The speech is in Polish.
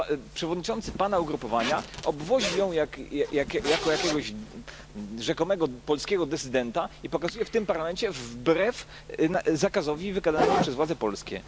Przewodniczący Pana ugrupowania obwozi ją jako jakiegoś rzekomego polskiego dysydenta i pokazuje w tym Parlamencie wbrew zakazowi wydanemu przez władze polskie.